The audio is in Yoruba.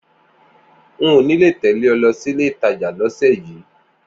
N ò ní lè tẹ̀lé ọ lọ sílé-ìtajà lọ́sẹ̀ yìí